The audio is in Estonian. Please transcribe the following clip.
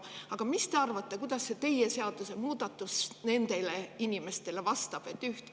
Aga mis te arvate, kuidas teie seadusemuudatus nendele vastab?